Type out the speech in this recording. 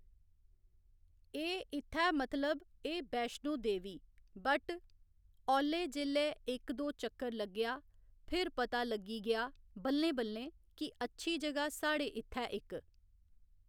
एह् इ'त्थै मतलब एह् वैष्णो देवी बट औल्लै जेल्लै इक दो चक्कर लग्गेआ फिर पता लग्गी गेआ बल्लें बल्लें कि अच्छी जगह साढ़े इ'त्थै इक।